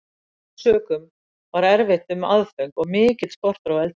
Af þessum sökum var erfitt um aðföng og mikill skortur á eldiviði.